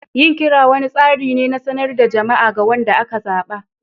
Yin kira wani tsari ne na sanarwar jama'a ga wanda aka zaba.